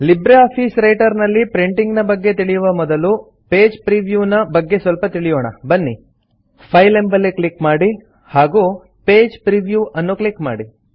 Libre Office Writer ನಲ್ಲಿ printing ನ ಬಗ್ಗೆ ತಿಳಿಯುವ ಮೊದಲು ಪೇಜ್ ಪ್ರಿವ್ಯೂ ನ ಬಗ್ಗೆ ಸ್ವಲ್ಪ ತಿಳಿಯೋಣ ಬನ್ನಿ ಫೈಲ್ ಎಂಬಲ್ಲಿ ಕ್ಲಿಕ್ ಮಾಡಿ ಹಾಗೂ ಪೇಜ್ ಪ್ರಿವ್ಯೂ ಅನ್ನು ಕ್ಲಿಕ್ ಮಾಡಿ